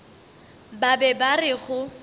ba be ba re go